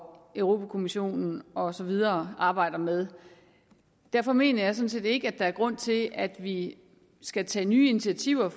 europa kommissionen og så videre arbejder med derfor mener jeg sådan set ikke der er grund til at vi skal tage nye initiativer